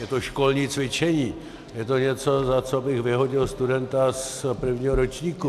Je to školní cvičení, je to něco, za co bych vyhodil studenta z prvního ročníku.